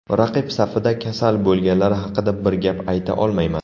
Raqib safida kasal bo‘lganlar haqida bir gap ayta olmayman.